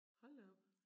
Hold da op